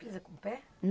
Pisa com o pé?